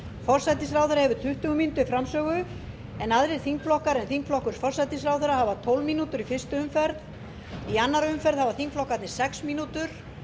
forsætisráðherra hefur tuttugu mínútur til framsögu en aðrir þingflokkar en þingflokkur forsætisráðherra hafa tólf mínútur í fyrstu umferð í annarri umferð hafa þingflokkarnir sex mínútur